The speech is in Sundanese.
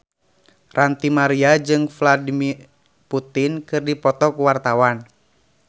Ranty Maria jeung Vladimir Putin keur dipoto ku wartawan